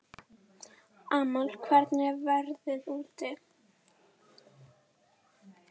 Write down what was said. Amal, hvernig er veðrið úti?